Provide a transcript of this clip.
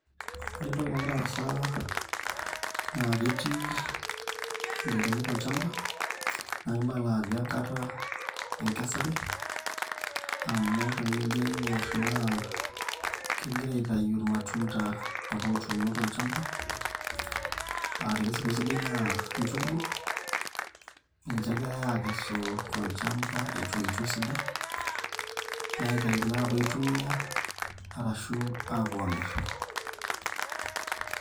Ore entoki nagira aas naa ketii ilairemok olchamba naa kibala ajo enkata ekesare amu tenijo aingor naa kengirae aitayu irmatunda apa ootuno tolchamba aah tenisipu esidai naa inchugu ninche egirae aikesu tolchamba etoito esidai nitayu naa apuo aitumia ashu apuo amir.